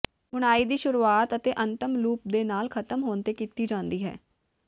ਬੁਣਾਈ ਦੀ ਸ਼ੁਰੂਆਤ ਅਤੇ ਅੰਤਿਮ ਲੂਪ ਦੇ ਨਾਲ ਖ਼ਤਮ ਹੋਣ ਤੇ ਕੀਤੀ ਜਾਂਦੀ ਹੈ